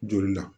Joli la